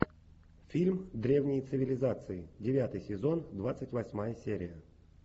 фильм древние цивилизации девятый сезон двадцать восьмая серия